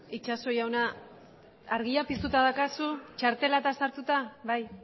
itxaso jauna argia piztuta daukazu txartela sartuta bai